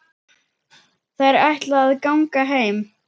Þær ætla að ganga heim.